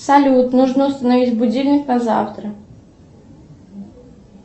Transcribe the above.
салют нужно установить будильник на завтра